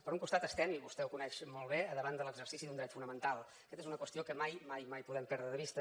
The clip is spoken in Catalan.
per un costat estem i vostè ho coneix molt bé davant de l’exercici d’un dret fonamental aquesta és una qüestió que mai mai mai podem perdre de vista